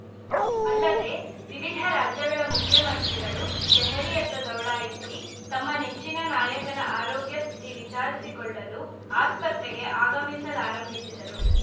ಅಲ್ಲದೆ ವಿವಿಧ ರಾಜ್ಯಗಳ ಮುಖ್ಯಮಂತ್ರಿಗಳು ದೆಹಲಿಯತ್ತ ದೌಡಾಯಿಸಿ ತಮ್ಮ ನೆಚ್ಚಿನ ನಾಯಕನ ಆರೋಗ್ಯ ಸ್ಥಿತಿ ವಿಚಾರಿಸಿಕೊಳ್ಳಲು ಆಸ್ಪತ್ರೆಗೆ ಆಗಮಿಸಲಾರಂಭಿಸಿದರು